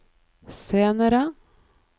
senere